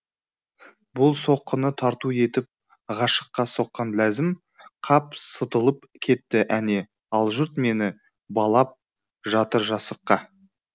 бұл соққыны тарту етіп ғашыққа соққан ләзім қап сытылып кетті әне ал жұрт мені балап жатыр жасыққа